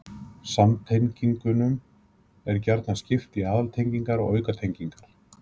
Samtengingum er gjarnan skipt í aðaltengingar og aukatengingar.